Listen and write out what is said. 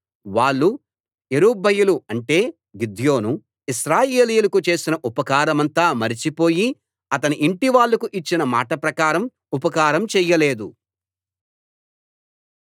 వాళ్ళు యెరుబ్బయలు అంటే గిద్యోను ఇశ్రాయేలీయులకు చేసిన ఉపకారమంతా మరచిపోయి అతని యింటివాళ్ళకు ఇచ్చిన మాట ప్రకారం ఉపకారం చెయ్యలేదు